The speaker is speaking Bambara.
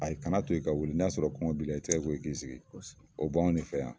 A ye kana to i ka wele n'a sɔrɔ kɔngɔn b'ila i tɛgɛ ko i k'i sigi kosɛbɛ o baw de fɛ yan